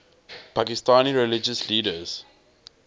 pakistani religious leaders